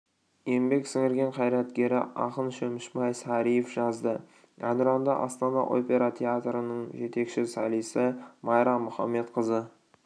еңбек сіңірген қайраткеры ақын шөмішбай сариев жазды әнұранды астана опера театрының жетекші солисі майра мұхамедқызы